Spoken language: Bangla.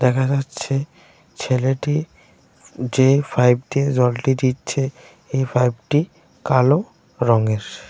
দেখা যাচ্ছে ছেলেটি যে ফাইবটি জলটি দিচ্ছে এই ফাইবটি কালো রঙের।